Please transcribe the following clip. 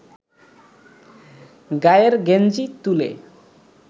গায়ের গেঞ্জি তুলে